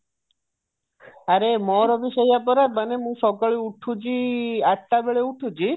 ଆରେ ମୋର ବି ସେଇଆ ପରା ମୁଁ ସବୁବେଳେ ଉଠୁଛି ଆଠଟା ବେଳେ ଉଠୁଛି